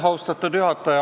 Austatud juhataja!